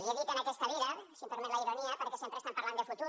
li he dit en aquesta vida si em permet la ironia perquè sempre estan parlant de futur